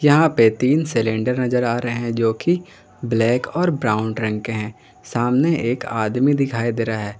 यहां पे तीन सिलेंडर नजर आ रहे हैं जो की ब्लैक और ब्राउन रंग के है सामने एक आदमी दिखाई दे रहा है।